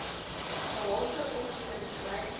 gehalte opvoeding kry